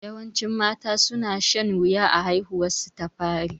Yawancin mata su na shan wuya a haihuwar su ta fari